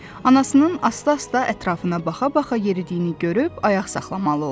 Anasının asta-asta ətrafına baxa-baxa yeridiyini görüb ayaq saxlamalı oldu.